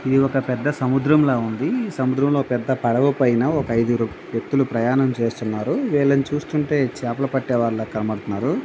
ఇది ఒక పెద్ద సముద్రము లాగా ఉంది ఈ సముద్రములో ఒక పెద్ద పడవపైన ఒక ఐదుగురు వ్యక్తులు ప్రయాణం చేస్తూనాన్నారు వీళ్లను చూస్తుంటే చేపలు ప్రటే వాళ్లలాగా కనపడుతున్నారు.